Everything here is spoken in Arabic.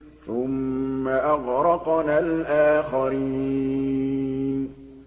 ثُمَّ أَغْرَقْنَا الْآخَرِينَ